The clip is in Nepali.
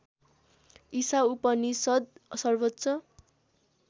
ईशा उपनिषद् सर्वोच्च